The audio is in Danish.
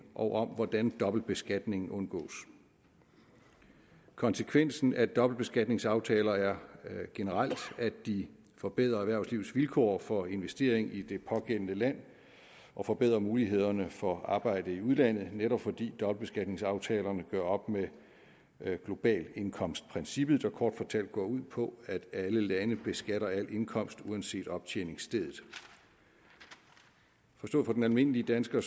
og om hvordan dobbeltbeskatning undgås konsekvensen af dobbeltbeskatningsaftaler er generelt at de forbedrer erhvervslivets vilkår for investering i det pågældende land og forbedrer mulighederne for arbejde i udlandet netop fordi dobbeltbeskatningsaftalerne gør op med globalindkomstprincippet der kort fortalt går ud på at alle lande beskatter al indkomst uanset optjeningsstedet forstået for den almindelige dansker